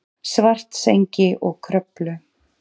Svartsengi og Kröflu.